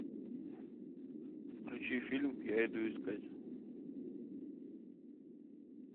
включи фильм я иду искать